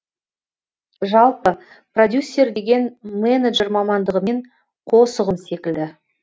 жалпы продюссер деген менеджер мамандығымен қос ұғым секілді